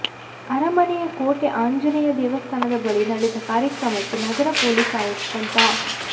ಅರಮನೆಯ ಕೋಟೆ ಆಂಜನೇಯ ದೇವಸ್ಥಾನದ ಬಳಿ ನಡೆದ ಕಾರ್ಯಕ್ರಮಕ್ಕೆ ನಗರ ಪೊಲೀಸ್ ಆಯುಕ್ತ ಡಾ